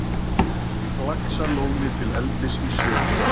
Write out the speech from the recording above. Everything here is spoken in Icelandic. Laxalóni til eldis í sjó.